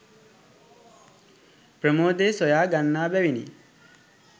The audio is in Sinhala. ප්‍රමෝදය සොයා ගන්නා බැවිනි.